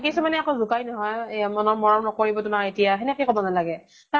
কিছুমানে আকৌ জোকাই নহয়, এয়া ম ন মৰম নকৰিব তোমাক এতিয়া, সেনেকে কʼব নালাগে । তাৰ